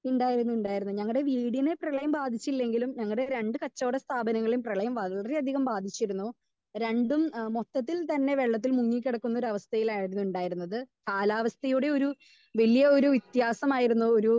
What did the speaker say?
Speaker 2 ഉണ്ടായിരുന്നു ഉണ്ടായിരുന്നു ഞങ്ങടെ വീടിനെ പ്രളയം ബാധിച്ചില്ലെങ്കിലും ഞങ്ങടെ രണ്ട് കച്ചവട സ്ഥാപങ്ങളേയും പ്രളയം വളരെയധികം ബാധിച്ചിരുന്നു. രണ്ടും ഏഹ് മൊത്തത്തിൽ തന്നെ വെള്ളത്തിൽ മുങ്ങി കിടക്കുന്ന ഒരവസ്ഥയിലായിരുന്നു ഉണ്ടായിരുന്നത്. കാലാവസ്ഥയുടെ ഒരു വലിയ ഒരു വ്യത്യാസമായിരുന്നു ഒരു